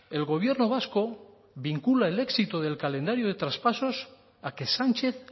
el gobierno vasco vincula el éxito del calendario de traspasos a que sánchez